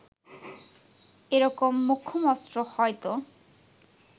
এরকম মোক্ষম অস্ত্র হয়ত